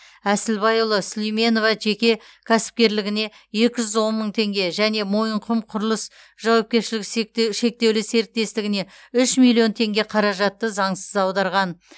әсілбайұлы сулейменова жеке кәсіпкерлігіне екі жүз он мың тенге және мойынқұм құрылыс жауапкершілігі шектеулі серіктестігіне үш миллион теңге қаражатты заңсыз аударған